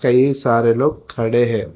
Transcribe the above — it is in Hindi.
ये सारे लोग खड़े है।